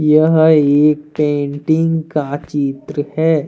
यह एक पेंटिंग का चित्र है।